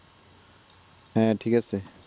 হ্যাঁ ঠিক আছে